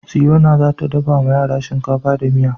Siyona za ta dafa wa yara shinkafa da miya.